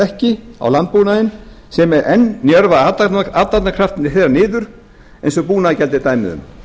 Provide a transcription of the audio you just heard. hlekki á landbúnaðinn sem enn njörva athafnakraft þeirra niður eins og búnaðargjaldið er dæmi um